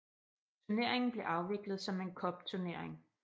Turneringen blev afviklet som en cupturnering